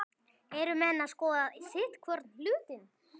Eru menn að skoða sitthvorn hlutinn?